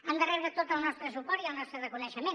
han de rebre tot el nostre suport i el nostre reconeixement